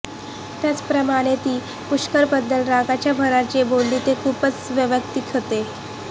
त्याचप्रमाणे ती पुष्करबद्दल रागाच्या भरात जे बोलली ते खूपच वैयक्तिक होतं